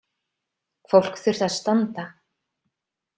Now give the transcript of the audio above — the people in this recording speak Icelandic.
Fólk þurfti að standa.